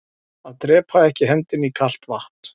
Að drepaa ekki hendinni í kalt vatn